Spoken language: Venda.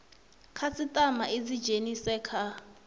khasitama i dzi dzhenise kha